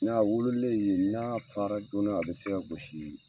N'a wololenye yen n'a fara joona a bɛ se ka gosi